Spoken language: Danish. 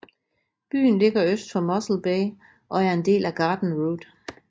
Byen ligger øst for Mossel Bay og er en del af Garden Route